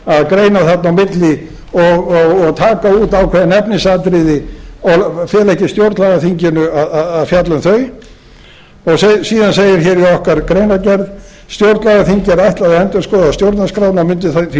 að greina þarna á milli og taka út ákveðin efnisatriði og fela ekki stjórnlagaþinginu að fjalla um þau síðan segir hér í okkar greinargerð stjórnlagaþingi er ætlað að endurskoða stjórnarskrána og mundi því